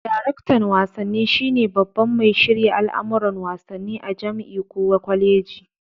Daraktan wasanni shi ne baban mai shirya al'amuran wasanni a jam'i ko kwaleji.